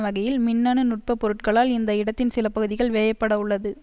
வகையில் மின்னணு நுட்ப பொருட்களால் இந்த இடத்தின் சில பகுதிகள் வேயப்பட உள்ளது